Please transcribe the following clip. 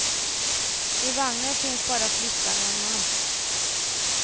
I vagnen finns bara flickan och en man.